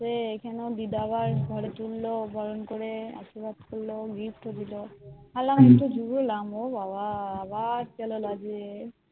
সেই এখানেও দিদার ঘরে তুলল বরণ করে আশীর্বাদ করলো ভাবলাম এতো দূরে এলাম ও বাবা আবার চলো